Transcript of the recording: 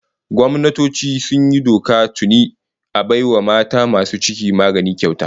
Gwamnatoci sun yi doka tuni a bai wa mata masu ciki magani kyauta